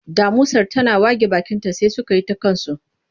Damusar tana wage bakinta sai suka yi ta kansu.